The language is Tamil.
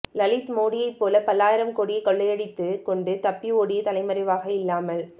லலித் மோடியைப் போல பல்லாயிரம் கோடியை கொள்ளையடித்துக் கொண்டு தப்பி ஓடி தலைமறைவாக இல்லாமல்